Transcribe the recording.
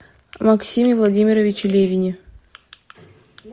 максиме владимировиче левине